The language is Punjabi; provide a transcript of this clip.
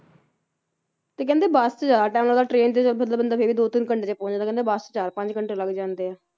ਤੇ ਕਹਿੰਦੇ ਬੱਸ ਚ ਜ਼ਿਆਦਾ time ਲੱਗਦਾ train ਚ ਬੰਦਾ ਬੰਦਾ ਫੇਰ ਵੀ ਦੋ ਤਿੰਨ ਘੰਟੇ ਪਹੁੰਚ ਜਾਂਦਾ ਤੇ ਕਹਿੰਦੇ ਬੱਸ ਚ ਚਾਰ ਪੰਜ ਘੰਟੇ ਲੱਗ ਜਾਂਦੇ ਆ,